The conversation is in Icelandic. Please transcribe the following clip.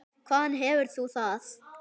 Hvaðan hefur þú það?